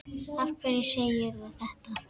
Af hverju segirðu þetta?